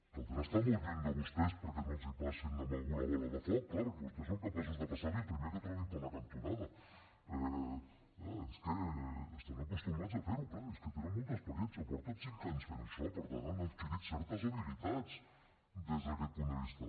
caldrà estar molt lluny de vostès perquè no passin a algú la bola de foc clar perquè vostès són capaços de passar la al primer que trobin a la cantonada és que estan acostumats a fer ho clar és que en tenen molta experiència fa cinc anys que fan això per tant han adquirit certes habilitats des d’aquest punt de vista